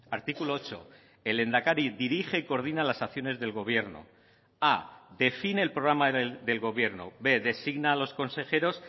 artículo ocho el lehendakari dirige y coordina las acciones del gobierno a define el programa del gobierno b designa a los consejeros